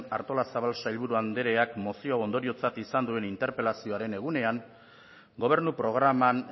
artolazabal sailburuandreak mozio ondoriotzat izan duen interpelazioaren egunean gobernu programan